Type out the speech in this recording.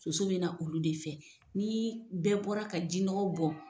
Soso bɛ na olu de fɛ ni bɛɛ bɔra ka jinɔgɔ bɔn